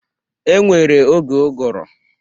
E nwere oge ụgụrụ.